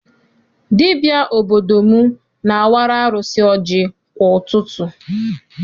Dibịa obodo m na-awara arụsị ọjị kwa ụtụtụ.